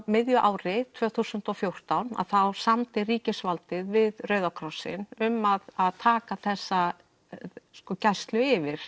miðju ári tvö þúsund og fjórtán samdi ríkisvaldið við Rauða krossinn um að að taka þessa gæslu yfir